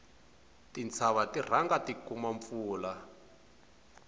tintshava ti rhanga ti kuma mpfula